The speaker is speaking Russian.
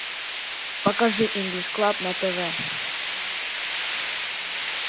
покажи инглиш клаб на тв